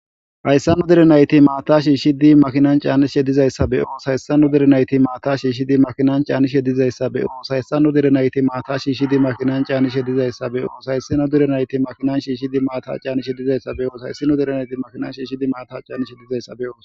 hayssa nnu direnayti maata shi shidi makinan caani she dizayssabeo hayssannu derenayti maatashi shidi makinan caani she dizayssabeo hayssanu derenayti maata shi shidi makinan caanishe dizayssabeoo hayssino derenayti makinan shi shidi maata caani shedizayssabeoos hayssino derenayti makinanshi shidi maata caanishe dizayssabeoo